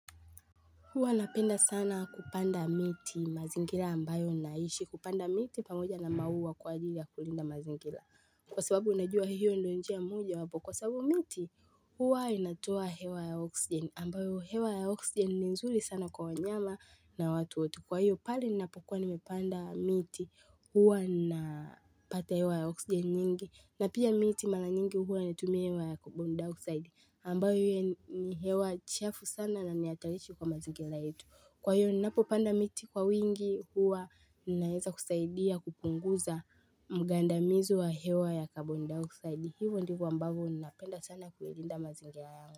Huwa napenda sana kupanda miti mazingira ambayo naishi. Kupanda miti pamoja na maua kwa ajili ya kulinda mazingira. Kwa sababu unajua hiyo ndio njia mmoja wapo. Kwa sababu miti, huwa inatoa hewa ya oxygen. Ambayo hewa ya oxgen ni nzuri sana kwa wanyama na watoto. Kwa hiyo pahali napokuwa nimepanda miti huwa na pata hewa ya oxgen nyingi. Na pia miti mara nyingi huwa inatumia hewa ya carbon dioxide ambayo hiyo ni hewa chafu sana na nihatarishi kwa mazingira yetu Kwa hiyo ninapopanda miti kwa wingi huwa ninaeza kusaidia kupunguza mgaandamizu wa hewa ya carbon dioxide hiyo ndivo kwa ambavo ninaapenda sana kuilinda mazingira yangu.